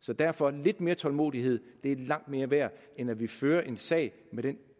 så derfor hav lidt mere tålmodighed det er langt mere værd end at vi fører en sag med den